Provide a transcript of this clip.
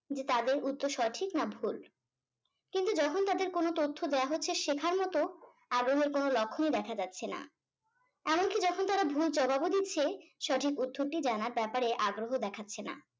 তাদের উত্তর সঠিক না ভুল কিন্তু যখন তাদের কোনো তথ্য দেওয়া হচ্ছে শেখার মতো আর ওদের কোনো লক্ষনই দেখা যাচ্ছে না এমনকি যখন তারা ভুল জবাবও দিচ্ছে সঠিক উত্তরটি জানার ব্যাপারে আগ্রহ দেখাচ্ছে না